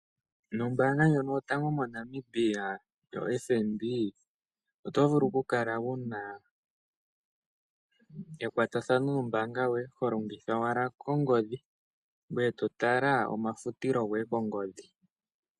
Ombaanga ndjono yotango moNamibia yoFBN oto vulu oku kala wu na ekwatathano nombaanga yoye honlomgitha wala ongodhi ngweye to tala omafutilo goye kongodhi.